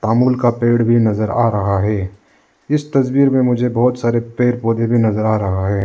अमूल का पेड़ भी नजर आ रहा है इस तस्वीर में मुझे बहुत सारे पेड़ पौधे भी नजर आ रहा है।